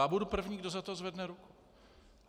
Já budu první, kdo za to zvedne ruku.